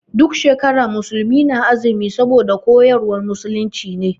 Duk shekara musulmi na azumi saboda koyarwar musulunci ne.